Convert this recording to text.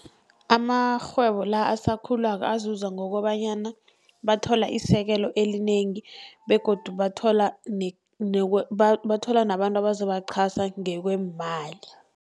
Amarhwebo la asakhulako azuza ngokobanyana bathola isekelo elinengi begodu bathola bathola nabantu abazobachasa ngekweemali.